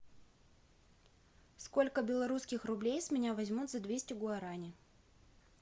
сколько белорусских рублей с меня возьмут за двести гуарани